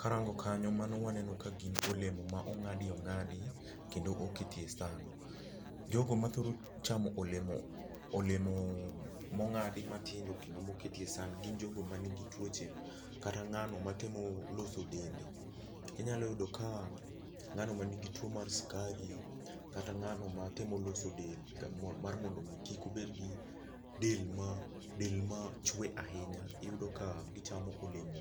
Karango kanyo mano waneno ka gin olemo ma ong'adi ong'adi kendo oketi e san. Jogo ma thoro chamo olemo olemo mong'adi matindo kondo moketie san gin jogo man gi tuoche kata ng'ano matemo loso dende. Inyalo yudo ka ng'ano mani gi tuo mar skari kata ng'ano matemo loso del mar mondo kik obed gi del ma dela machwe ahinya iyudo ka gichamo olemo